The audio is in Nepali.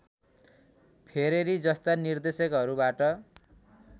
फेरेरी जस्ता निर्देशकहरूबाट